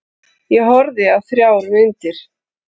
Ég horfði á þrjár myndir.